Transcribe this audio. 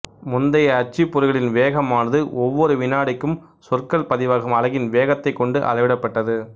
முந்தைய அச்சுப்பொறிகளின் வேகமானது ஒவ்வொரு வினாடிக்கும் சொற்கள் பதிவாகும் அலகின் வேகத்தைக் கொண்டு அளவிடப்பட்டது